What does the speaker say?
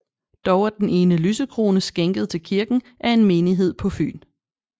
Dog er den ene lysekrone skænket til kirken af en menighed på Fyn